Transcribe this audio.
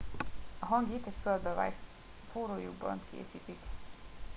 a hangit egy földbe vájt forró lyukban készítik